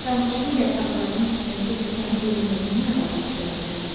Sarmaşığın yarpaqlarının düşməsi ilə sənin ölməyinin nə əlaqəsi ola bilər?